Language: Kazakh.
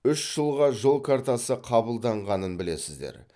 үш жылға жол картасы қабылданғанын білесіздер